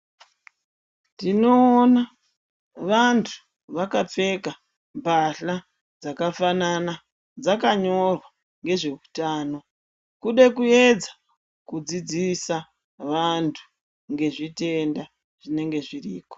Tinoona vantu vakapfeka mbahla dzakafanana dzakanyorwa ngezveutano. Kude kuedza kudzidzisa vantu ngezveutenda zvinenge zviri ko.